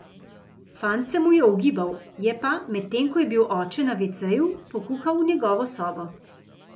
Fant se mu je ogibal, je pa, medtem ko je bil oče na veceju, pokukal v njegovo sobo.